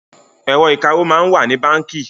Ẹ̀rọ̀ ìkawó máa ń wà ní báńkì